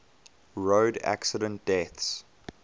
road accident deaths